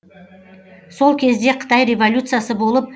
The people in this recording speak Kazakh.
сол кезде қытай революциясы болып